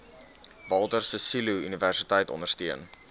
walter sisuluuniversiteit ondersteun